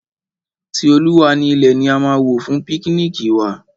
Ti Olúwa ni ilẹ̀ ni a máa wò fún píknìkì wa.